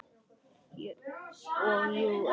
Og jú, erfitt líka.